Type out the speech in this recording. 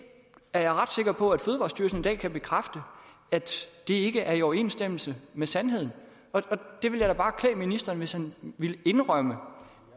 er jeg ret sikker på at fødevarestyrelsen i dag kan bekræfte ikke er i overensstemmelse med sandheden det vil da bare klæde ministeren hvis han ville indrømme